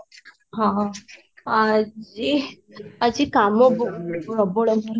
ହଁ ହଁ ଆଜି ଆଜି କାମ ବହୁତ ପ୍ରବଳ ଘର